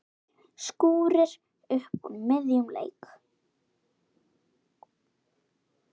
Skúrir upp úr miðjum leik.